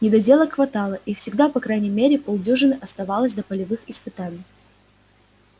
недоделок хватало и всегда по крайней мере полдюжины оставалось до полевых испытаний